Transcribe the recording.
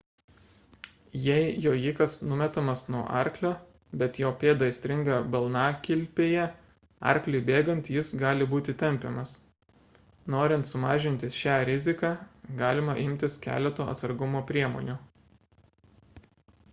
jei jojikas numetamas nuo arklio bet jo pėda įstringa balnakilpėje arkliui bėgant jis gali būti tempiamas norint sumažinti šią riziką galima imtis keleto atsargumo priemonių